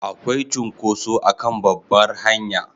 Akwai cunkoso a kan babbar hanya